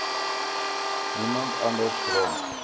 niemand anders rond